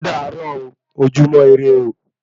Ódàárọ̀ o, ojúmọ́ irẹ ooo